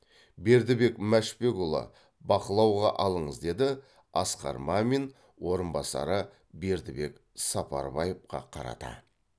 бердібек мәшбекұлы бақылауға алыңыз деді асқар мамин орынбасары бердібек сапарбаевқа қарата